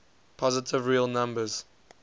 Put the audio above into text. positive real number